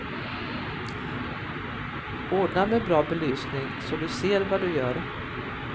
Ordna med bra belysning så du ser vad du gör.